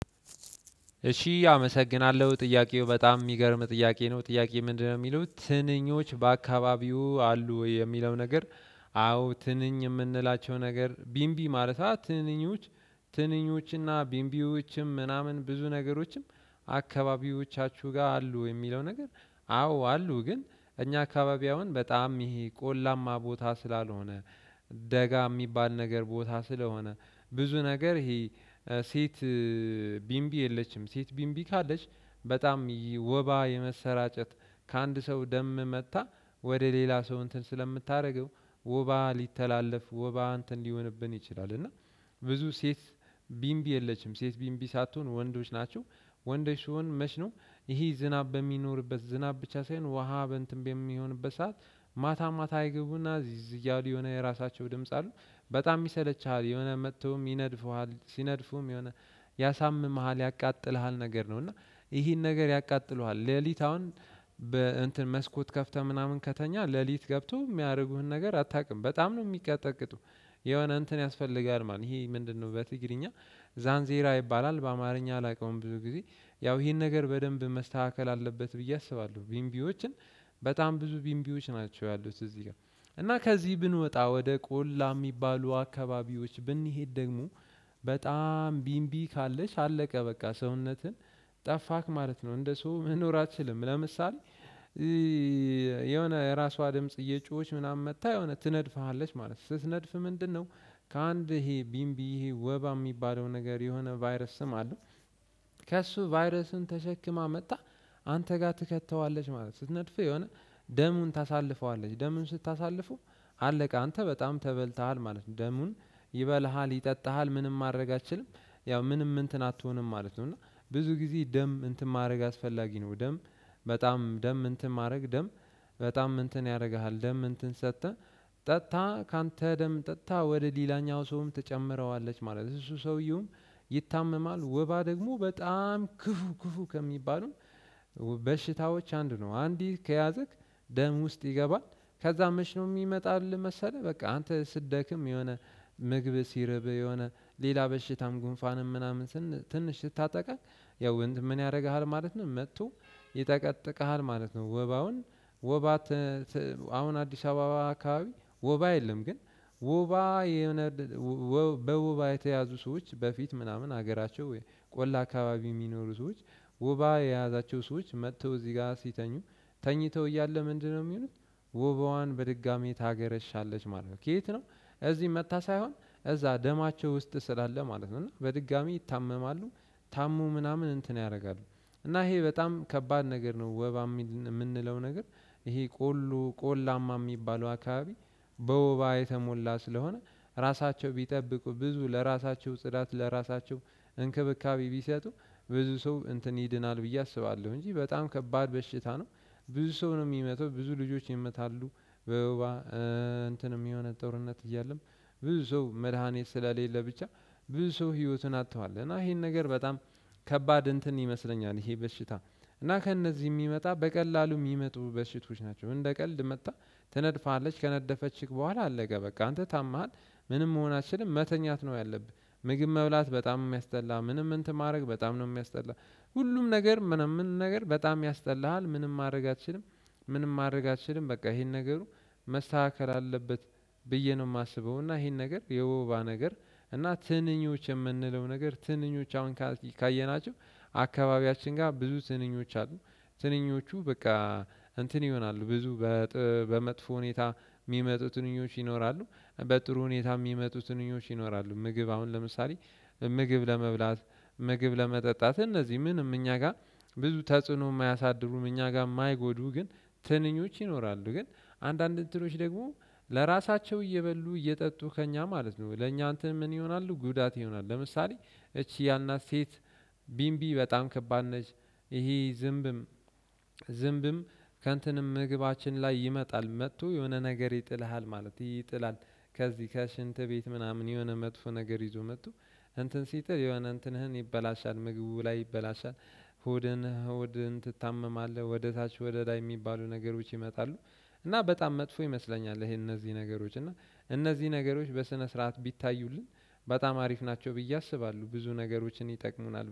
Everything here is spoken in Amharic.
እሺ አመሰግናለሁ ጥያቄው በጣም የሚገርም ጥያቄ ነው ጥያቄ ምንድነው? የሚሉት ትንኞች በአካባቢው አሉ የሚለው ነገር። አዎ ትንኝ የምንላቸው ነገር ቢንቢ ማለት። ትንኞች እና ቢምቢዎችም ምናምን ብዙ ነገሮችም። አካባቢዎቻችሁ ጋር አሉ የሚለው ነገር። አዎ አሉ ግን እኛ አካባቢያውን በጣም ይሄ ቆላማ ቦታ ስላልሆነ። ደጋ የሚባል ነገር ቦታ ስለሆነ። ብዙ ነገር ይሄ። ሴት ቢምቢ የለችም ሴት ቢምቢ ካለች በጣም ወባ የመሰራጨት ከአንድ ሰው ደም መጥታ ወደ ሌላ ሰው እንትን ስለምታደርገው ውባ ሊተላለፍ ውባ እንትን ሊሆንብን ይችላል። እና ብዙ ሴት ቢምቢ የለችም ሴት ቢምቢ ሳትሆን ወንዶች ናቸው። ወንዶች ሲሆን መች ነው? ይሄ ዝናብ በሚኖርበት ዝናብ ብቻ ሳይሆን ውሃ በእንትን በሚሆንበት ሰዓት ማታ ማታ ይገቡና እዚዝዝ እያሉ የሆነ የራሳቸው ድምጽ አሉ። በጣም ይሰለቸሃል የሆነ መጥተውም ይነድፉሃል ሲነድፉም የሆነ ያሳምምሃል ያቃጥልሃል ነገር ነው። እና ይሄን ነገር ያቃጥሉሃል ሌሊት አሁን በእንትን መስኮት ከፍተህ ምናምን ከተኛ ሌሊት ገብቶ የሚያደርጉህን ነገር አታውቅም በጣም ነው የሚቀጠቅጡ። የሆነ እንትን ያስፈልጋል ማለት ነው። ይሄ ምንድነው? በትግርኛ ዛን ዜራ ይባላል በአማርኛ አላውቀውም። ብዙ ጊዜ ያው ይሄን ነገር በደንብ መስተካከል አለበት ብዬ አስባለሁ። ቢንቢዎችን በጣም ብዙ ቢንቢዎች ናቸው ያሉት እዚህ ጋር። እና ከዚህ ብንወጣ ወደ ቆላ የሚባሉ አካባቢዎች ብንሄድ ደግሞ በጣም ቢንቢ ካለች አለቀ በቃ ሰውነትን ጠፋክ ማለት ነው እንደ ሰው መኖር አትችልም። ለምሳሌ የሆነ የራሷ ድምጽ እየጮኸች ምናምን መጥታ የሆነ ትነድፋሃለች ማለት ነው። ስትነድፍ ምንድነው? ከአንድ ይሄ ቢምቢ ይሄ ወባ የሚባለው ነገር የሆነ ቫይረስም አለው። ከእሱ ቫይረስን ተሸክማ መጣህ አንተ ጋር ትከተዋለች ማለት ነው። ስትነድፍ የሆነ ደሙን ታሳልፈዋለች ደሙን ስታሳልፉ አለቀ አንተ በጣም ተበልተሃል ማለት ነው። ደሙን ይበልሃል ይጠጣሃል ምንም ማድረግ አልችልም። ያው ምንም እንትን አትሆንም ማለት ነው። እና ብዙ ጊዜ ደም እንትን ማድረግ አስፈላጊ ነው። ደም በጣም ደም እንትን ማድረግ ደም በጣም እንትን ያደርግሃል። ደም እንትን ሰጥተህ ጠጥታ ካንተ ደም ጠጥታ ወደ ሌላኛው ሰውም ትጨምረዋለች ማለት ነው። እሱ ሰውየውም ይታመማል ወባ ደግሞ በጣም ክፉ ክፉ ከሚባሉን በሽታዎች አንድ ነው። አንዴ ከያዘክ ደም ውስጥ ይገባል። ከዛ መቼ ነው የሚመጣልህ መሰለህ። በቃ አንተ ስትደክም የሆነ ምግብ ሲርብ የሆነ ሌላ በሽታም ጉንፋንም ምናምን ትንሽ ስታጠቃኝ ያው እንትን ምን ያደርግሃል ማለት ነው። መጥቶ ይጠቀጥቅሃል ማለት ነው። ወባውን ወባ አሁን አዲስ አበባ አካባቢ ወባ የለም። ግን ወባ የሆነ በወባ የተያዙ ሰዎች በፊት ምናምን ሀገራቸው ወይ ቆላ አካባቢ የሚኖሩ ሰዎች ውባ የያዛቸው ሰዎች መጥተው እዚህ ጋር ሲተኙ ተኝተው እያለ ምንድነው የሚሆነው? ውባዋን በድጋሚ ታገረሻለች ማለት ነው። ከየት ነው? እዚህ መጥታ ሳይሆን እዛ ደማቸው ውስጥ ስላለ ማለት ነው። እና በድጋሚ ይታመማሉ። ታሙ ምናምን እንትን ያደርጋሉ። እና ይሄ በጣም ከባድ ነገር ነው ወባ የምንለው ነገር። ይሄ ቆሉ ቆላማ የሚባለው አካባቢ። በውባ የተሞላ ስለሆነ ራሳቸው ቢጠብቁ ብዙ ለራሳቸው ጽዳት ለራሳቸው እንክብካቤ ቢሰጡ ብዙ ሰው እንትን ይድናል ብዬ አስባለሁ። እንጂ በጣም ከባድ በሽታ ነው። ብዙ ሰው ነው የሚመተው ብዙ ልጆች ይመታሉ። በውባ እንትንም የሆነ ጦርነት እያለም ብዙ ሰው መድሃኒት ስለሌለ ብቻ ብዙ ሰው ህይወቱን አጥተዋል። እና ይሄን ነገር በጣም ከባድ እንትን ይመስለኛል። ይሄ በሽታ እና ከእነዚህ የሚመጣ በቀላሉ የሚመጡ በሽቶች ናቸው። እንደ ቀልድ መጥታ ትነድፋለች ከነደፈችክ በኋላ አለቀ በቃ አንተ ታምሃል። ምንም መሆናችንም መተኛት ነው ያለብህ። ምግብ መብላት በጣም የሚያስጠላ ምንም እንትን ማድረግ በጣም ነው የሚያስጠላ። ሁሉም ነገር ምንም ምን ነገር በጣም ያስጠላሃል ምንም ማድረግ አትችልም። ምንም ማድረግ አትችልም በቃ ይሄን ነገሩ መስተካከል አለበት። ብዬ ነው የማስበው። እና ይሄን ነገር የወባ ነገር እና ትንኞች የምንለው ነገር ትንኞች አሁን ካየናቸው አካባቢያችን ጋር ብዙ ትንኞች አሉ። ትንኞቹ በቃ እንትን ይሆናሉ ብዙ በመጥፎ ሁኔታ የሚመጡ ትንኞች ይኖራሉ። በጥሩ ሁኔታ የሚመጡ ትንኞች ይኖራሉ። ምግብ አሁን ለምሳሌ ምግብ ለመብላት ምግብ ለመጠጣት እነዚህ ምንም እኛ ጋር ብዙ ተጽዕኖ የማያሳድሩም እኛ ጋር የማይጎዱ ግን። ትንኞች ይኖራሉ። ግን አንዳንድ እንትኖች ደግሞ ለራሳቸው እየበሉ እየጠጡ ከእኛ ማለት ነው። ለእኛ አንተ ምን ይሆናሉ ጉዳት ይሆናሉ። ለምሳሌ እቺ ያልናት ሴት ቢንቢ በጣም ከባድ ነች። ይሄ ዝምብም ዝምብም ከእንትንም ምግባችን ላይ ይመጣል መጥቶ የሆነ ነገር ይጥልሃል ማለት ይጥላል። ከዚህ ከሽንት ቤት ምናምን የሆነ መጥፎ ነገር ይዞ መጥቶ እንትን ሲጥል የሆነ እንትንህን ይበላሻል ምግቡ ላይ ይበላሻል። ሆድን ሆድን ትታመማለህ ወደ ታች ወደ ላይ የሚባሉ ነገሮች ይመጣሉ። እና በጣም መጥፎ ይመስለኛል። ይሄ እነዚህ ነገሮች እና እነዚህ ነገሮች በስነ ስርዓት ቢታዩልን በጣም አሪፍ ናቸው ብዬ አስባለሁ። ብዙ ነገሮችን ይጠቅሙናል